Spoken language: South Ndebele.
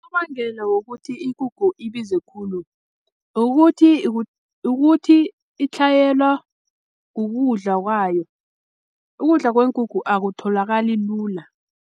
Unobangela wokuthi ikukhu ibize khulu, ukuthi ukuthi itlhayela kukudla kwayo ukudla kweenkukhu akutholakali lula.